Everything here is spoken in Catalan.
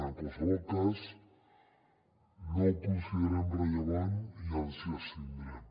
en qualsevol cas no ho considerem rellevant i ens hi abstindrem